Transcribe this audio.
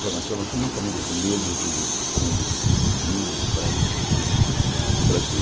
Formação nós somos uma família de negros do com índios, brancos do sul do Brasil.